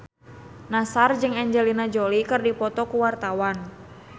Nassar jeung Angelina Jolie keur dipoto ku wartawan